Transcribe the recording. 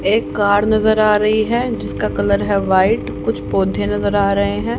एक कार नजर आ रही है जिसका कलर है व्हाइट कुछ पौधे नजर आ रहे हैं।